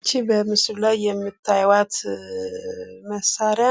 ይች በምስሉ ላይ የምታዩአት መሳሪያ